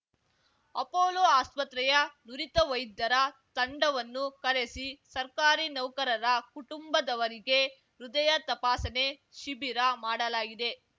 Apollo ಆಸ್ಪತ್ರೆಯ ನುರಿತ ವೈದ್ಯರ ತಂಡವನ್ನು ಕರೆಸಿ ಸರ್ಕಾರಿ ನೌಕರರ ಕುಟುಂಬದವರಿಗೆ ಹೃದಯ ತಪಾಸಣೆ ಶಿಬಿರ ಮಾಡಲಾಗಿದೆ